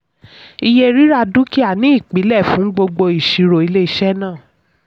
iye rira dúkìá ni ìpìlẹ̀ fún gbogbo ìṣirò ilé iṣẹ́ náà.